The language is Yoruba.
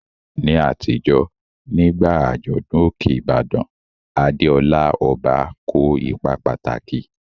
Ní àtijọ́, nígbà àjọ̀dún Òkè Ìbàdàn, Adeola, ọba, kó ipa pàtàkì.